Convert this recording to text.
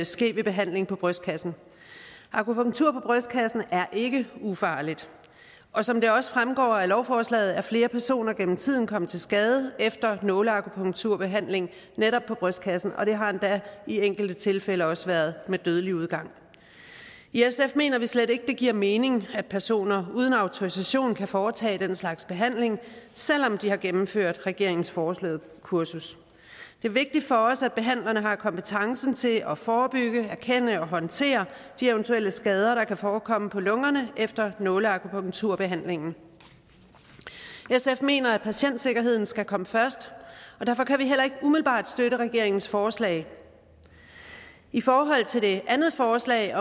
ske ved behandling på brystkassen akupunktur på brystkassen er ikke ufarligt og som der også fremgår af lovforslaget er flere personer gennem tiden kommet til skade efter nåleakupunkturbehandling netop på brystkassen og det har endda i enkelte tilfælde også været med dødelig udgang i sf mener vi slet ikke at det giver mening at personer uden autorisation kan foretage den slags behandling selv om de har gennemført regeringens foreslåede kursus det er vigtigt for os at behandlerne har kompetencen til at forebygge erkende og håndtere de eventuelle skader der kan forekomme på lungerne efter nåleakupunkturbehandlingen sf mener at patientsikkerheden skal komme først og derfor kan vi heller ikke umiddelbart støtte regeringens forslag i forhold til det andet forslag